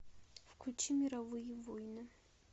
включи мировые войны